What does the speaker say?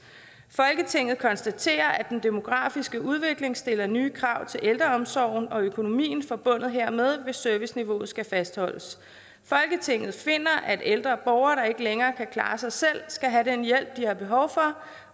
folketinget konstaterer at den demografiske udvikling stiller nye krav til ældreomsorgen og økonomien forbundet hermed hvis serviceniveauet skal fastholdes folketinget finder at ældre borgere der ikke længere kan klare sig selv skal have den hjælp de har behov for